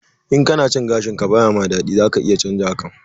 In kana cin gashin ka ba ya ma daɗi, za ka iya canza hakan.